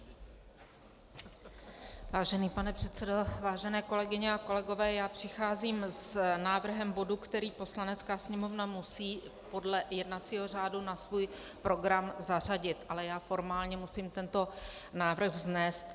Vážený pane předsedo, vážené kolegyně a kolegové, já přicházím s návrhem bodu, který Poslanecká sněmovna musí podle jednacího řádu na svůj program zařadit, ale já formálně musím tento návrh vznést.